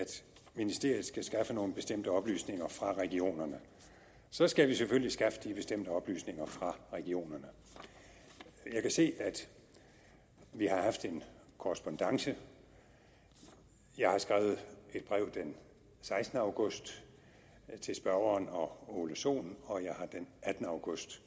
ministeriet skal skaffe nogle bestemte oplysninger fra regionerne så skal vi selvfølgelig skaffe de bestemte oplysninger fra regionerne jeg kan se at vi har haft en korrespondance jeg har skrevet et brev den sekstende august til spørgeren og ole sohn og jeg har den attende august